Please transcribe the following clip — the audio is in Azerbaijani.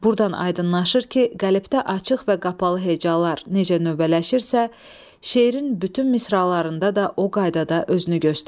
Burdan aydınlaşır ki, qəlibdə açıq və qapalı hecalar necə növbələşirsə, şeirin bütün misralarında da o qaydada özünü göstərir.